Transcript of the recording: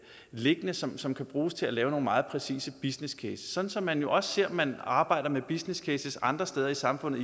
liggende som som kan bruges til at lave nogle meget præcise businesscases sådan som vi jo også ser at man arbejder med businesscases andre steder i samfundet